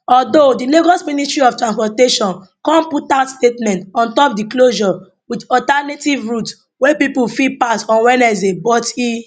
although di lagos ministry of transportation come put out statement on top di closure wit alternative routes wey pipo fit pass on wednesday but e